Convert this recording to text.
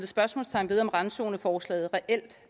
spørgsmålstegn ved om randzoneforslaget reelt